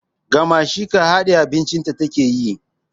Gamasheka hadiye abincin ta take yi